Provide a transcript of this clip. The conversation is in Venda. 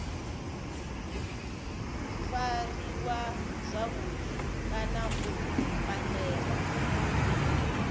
fariwa zwavhudi kana u pandelwa